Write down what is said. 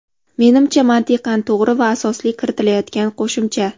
Menimcha mantiqan to‘g‘ri va asosli kiritilayotgan qo‘shimcha.